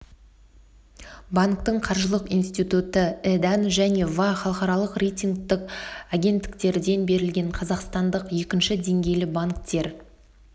банктің қаржылық институты і-дан және ва халықаралық рейтингтік агенттіктерден берілген қазақстандық екінші деңгейлі банктер